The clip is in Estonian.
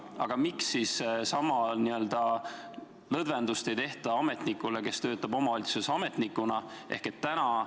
Aga miks siis sama lõdvendust ei tehta ametnikule, kes töötab omavalitsuses?